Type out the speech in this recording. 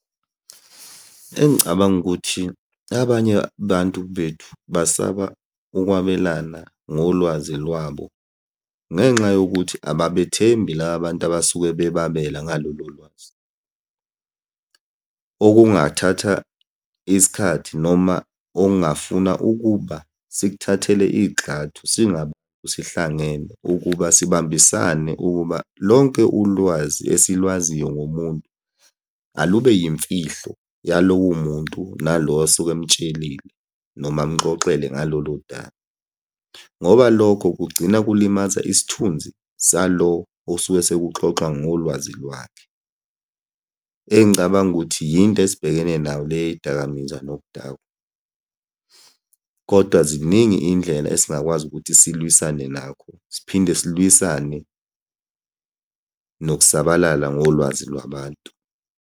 Engicabanga ukuthi abanye abantu bethu basaba ukwabelana ngolwazi lwabo ngenxa yokuthi ababethembi la bantu abasuke bebabela ngalolo lwazi. Okungathatha isikhathi noma ongafuna ukuba sikuhathele igxathu sihlangene ukuba sibambisane ukuba lonke ulwazi esilwaziyo ngomuntu alube yimfihlo yalowo muntu nalo osuke emtshelile, noma amuxoxele ngalolo daba, ngoba lokho kugcina kulimaza isithunzi salo osuke sekuxoxwa ngolwazi lwakhe. Engicabanga ukuthi yinto esibhekene nayo le yey'dakamizwa nokudakwa, kodwa ziningi iy'ndlela esingakwazi ukuthi silwisane nakho. Siphinde silwisane nokusabalala ngolwazi lwabantu.